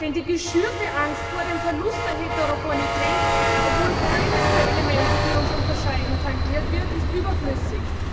Denn die geschürte Angst vor dem Verlust der Heterogenität, obwohl keines der Elemente, die uns unterscheiden, tangiert wird, ist überflüssig.